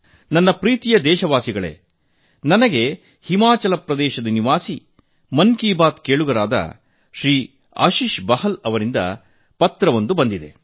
ನನ್ನ ಪ್ರಿಯ ದೇಶವಾಸಿಗಳೇ ನಾನು ಹಿಮಾಚಲ ಪ್ರದೇಶದ ನಿವಾಸಿ ಮನ್ ಕಿ ಬಾತ್ ಕೇಳುಗರಾದ ಶ್ರೀ ಆಶಿಷ್ ಬಲ್ ಜಿ ಅವರಿಂದ ಒಂದು ಸ್ವೀಕರಿಸಿದ್ದೇನೆ